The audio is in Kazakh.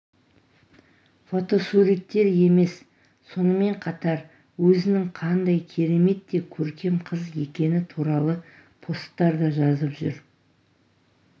фотосуреттеремес сонымен қатар өзінің қандай керемет те көркем қыз екені туралы посттар да жазып жүр